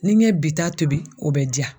Ni n ye bi ta tobi o bɛ diya.